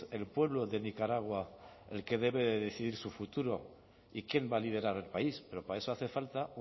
el pueblo de nicaragua el que debe de decidir su futuro y quién va a liderar el país pero para eso hace falta